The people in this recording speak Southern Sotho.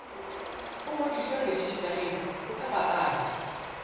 o ngodiswe rejistareng ya baahi